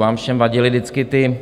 Vám všem vadily vždycky ty